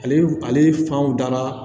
Ale ale fan dala